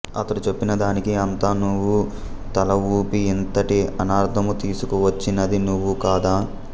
అతడు చెప్పిన దానికి అంతా నువ్వు తల ఊపి ఇంతటి అనర్ధము తీసుకు వచ్చినది నువ్వు కాదా